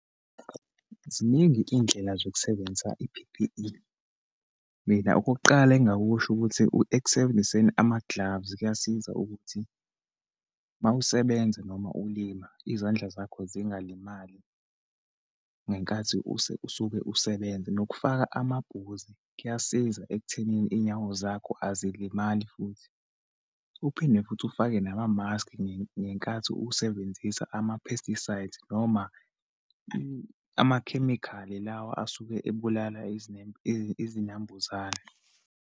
Ziningi-ke iyidlela zokusebenzisa i-P_P_E. Mina, okokuqala engingakusho ukuthi ekusebenziseni amagilavu, kuyasiza ukuthi uma usebenza, noma ulima, izandla zakho zingalimali, ngenkathi use usuke usebenza, nokufaka amabhuzi, kuyasiza ekuthenini iyinyawo zakho azilimali futhi. Uphinde futhi ufake namamaski, ngenkathi usebenzisa ama-pesticides, noma amakhemikhali lawa asuke ebulala izinambuzane.